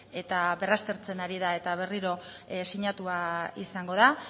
eta berraztertzen ari da eta berriro sinatua izango da